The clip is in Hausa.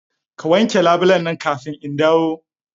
Ka wanke labulen nan kafin in dawo!